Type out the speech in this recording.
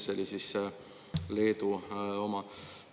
See oli siis Leedu oma.